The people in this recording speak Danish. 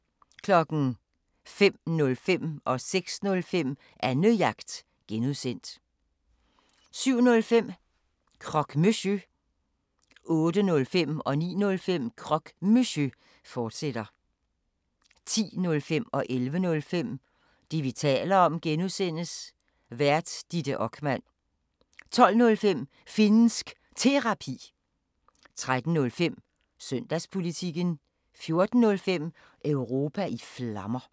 05:05: Annejagt (G) 06:05: Annejagt (G) 07:05: Croque Monsieur 08:05: Croque Monsieur, fortsat 09:05: Croque Monsieur, fortsat 10:05: Det, vi taler om (G) Vært: Ditte Okman 11:05: Det, vi taler om (G) Vært: Ditte Okman 12:05: Finnsk Terapi 13:05: Søndagspolitikken 14:05: Europa i Flammer